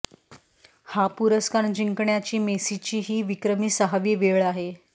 हा पुरस्कार जिंकण्याची मेसीची ही विक्रमी सहावी वेळ आहे